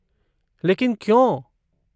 लेकिन क्यों?